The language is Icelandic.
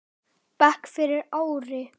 bekk fyrir ári.